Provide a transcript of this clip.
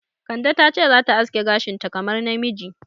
Kande ta ce za ta za ta aske gashinta kamar namiji.